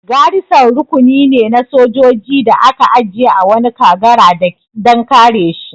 Garison rukuni ne na sojoji da aka aje a wani kagara dan kare shi